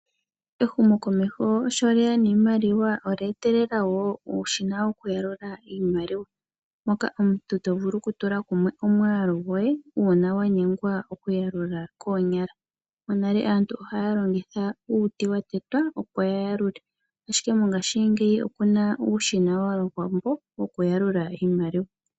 Ehumokomeho sholyeya niimaliwa olye etele wo uushina wokuyalula iimaliwa . Moka omuntu to vulu okutula kumwe omwaalu gwoye uuna wanyengwa okuyakula koonyala . Monale aantu okwali li haya longitha uuti watetwa opo yayalule, ashike mongashingeyi opuna uushina wokuyalula iimaliwa .